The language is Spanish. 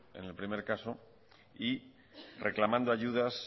en el primero caso y reclamando ayudas